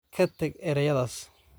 Ka tag erayadaas